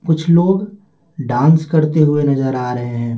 कुछ लोग डांस करते हुए नजर आ रहे हैं।